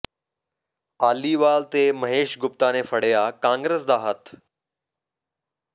ਆਲੀਵਾਲ ਤੇ ਮਹੇਸ਼ ਗੁਪਤਾ ਨੇ ਫੜਿਆ ਕਾਂਗਰਸ ਦਾ ਹੱਥ